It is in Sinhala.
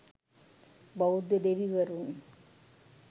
බෞද්ධ දෙවිවරුන්